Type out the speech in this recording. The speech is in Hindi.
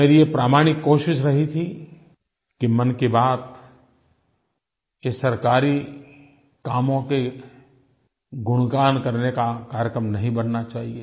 मेरी ये प्रामाणिक कोशिश रही थी कि मन की बात ये सरकारी कामों के गुणगान करने का कार्यक्रम नहीं बनना चाहिए